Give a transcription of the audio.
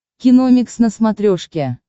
киномикс на смотрешке